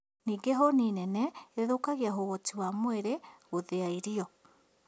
Ningĩ hũni nene ĩthũkagia ũhoti wa mwĩrĩ gũthĩa irio